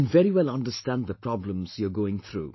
I can very well understand the problems you are going through